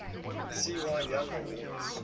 cy young awards